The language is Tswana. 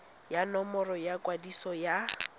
ya nomoro ya kwadiso ya